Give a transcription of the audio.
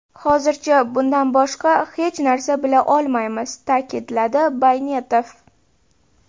Hozircha bundan boshqa hech narsa bila olmaymiz”, ta’kidladi Baynetov.